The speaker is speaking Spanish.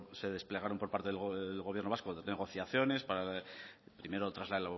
se desplegaron por parte del gobierno vasco de negociaciones para primero tras la